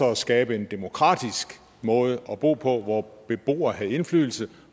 at skabe en demokratisk måde at bo på hvor beboere havde indflydelse